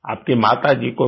आपकी माता जी को भी